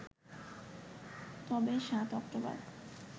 তবে ৭ অক্টোবর